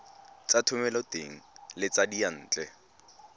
tsa thomeloteng le tsa diyantle